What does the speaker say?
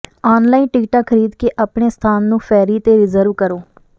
online ਟਿਕਟਾਂ ਖਰੀਦ ਕੇ ਆਪਣੇ ਸਥਾਨ ਨੂੰ ਫੈਰੀ ਤੇ ਰਿਜ਼ਰਵ ਕਰੋ